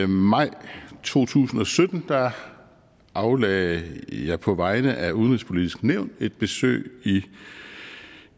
maj to tusind og sytten aflagde jeg på vegne af udenrigspolitisk nævn et besøg i